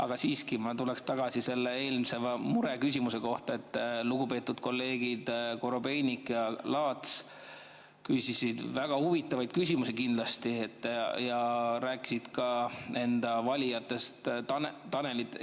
Aga siiski ma tuleksin tagasi selle eelmise mureküsimuse juurde, et lugupeetud kolleegid Korobeinik ja Laats küsisid väga huvitavaid küsimusi kindlasti ja rääkisid ka enda valijast Tanelist.